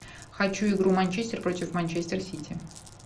хочу игру манчестер против манчестер сити